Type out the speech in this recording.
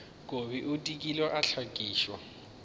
kobi o dikile a hlakišwa